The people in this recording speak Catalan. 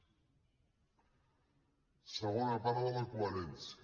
segona part de la coherència